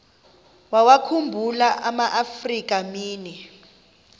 wawakhumbul amaafrika mini